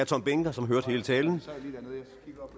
tom behnke som hørte hele talen